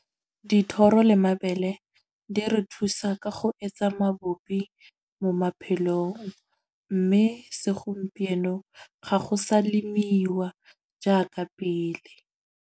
Dithoro le mabele di re thusa ka go etsa mabupi mo maphelong. Mme segompieno ga go sa lemiwa jaaka pele.